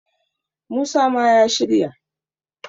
musa ma ya shirya!